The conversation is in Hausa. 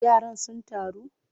Yaran sun taru?